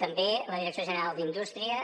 també la direcció general d’indústria